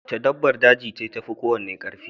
Wace dabbar daje ce tafi kowace karfi?